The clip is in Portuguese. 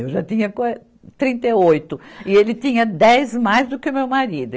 Eu já tinha qua, trinta e oito e ele tinha dez mais do que o meu marido.